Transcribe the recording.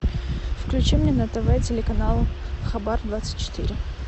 включи мне на тв телеканал хабар двадцать четыре